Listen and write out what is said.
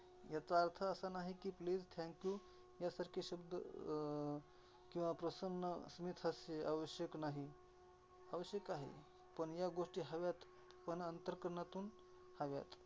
याचा अर्थ असा नाही की, please, thank you या सारखे शब्द अं किंवा प्रसन्न स्मितहास्य आवश्यक नाही. आवश्यक आहे. प ण ह्या गोष्टी हव्यात, पण अंतकरणातून हव्यात.